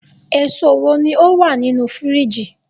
eso wo ni o wa ninu firiji